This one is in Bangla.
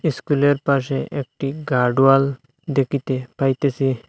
স্কুলের পাশে একটি গার্ড ওয়াল দেখিতে পাইতেসি।